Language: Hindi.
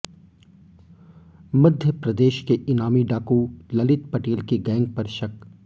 मध्यप्रदेश के इनामी डाकू ललित पटेल की गैंग पर शक